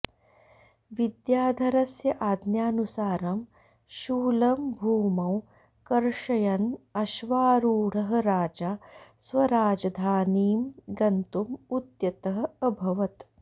विद्याधरस्य आज्ञानुसारं शूलं भूमौ कर्षयन् अश्वारूढः राजा स्वराजधानीं गन्तुम् उद्यतः अभवत्